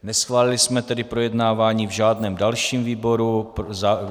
Neschválili jsme tedy projednávání v žádném dalším výboru.